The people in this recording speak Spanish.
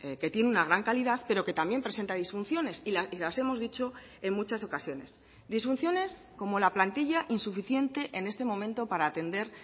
que tiene una gran calidad pero que también presenta disfunciones y las hemos dicho en muchas ocasiones disfunciones como la plantilla insuficiente en este momento para atender